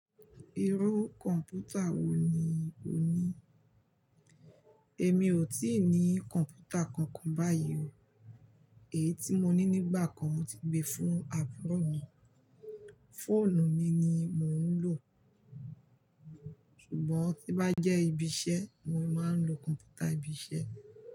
Irú kọ̀mpútà wo ni o ní? Èmi ò tíì ní kọ̀ǹpútà kankan báyìí o. Èyí tí mo ní nígbà kan mo ti gbé fún àbúrò mi. Fóònù mi ni mò ń lò. Ṣùgbọ́n tí bá jẹ́ ibi iṣẹ́, mo máa ń lo kọ̀ǹpútà ibi iṣẹ́.